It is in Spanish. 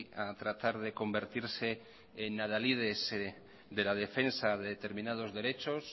a tratar de convertirse en adalides de la defensa de determinados derechos